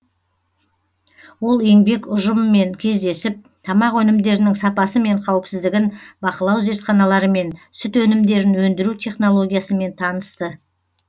ол еңбек ұжымымен кездесіп тамақ өнімдерінің сапасы мен қауіпсіздігін бақылау зертханаларымен сүт өнімдерін өндіру технологиясымен танысты